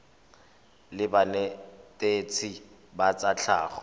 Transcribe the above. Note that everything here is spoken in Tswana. la banetetshi ba tsa tlhago